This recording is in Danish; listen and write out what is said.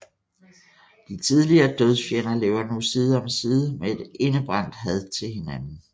De tidligere dødsfjender lever nu side om side med et indebrændt had til hinanden